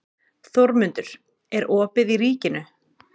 Þórmundur, er opið í Ríkinu?